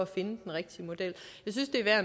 den rigtige model jeg synes det er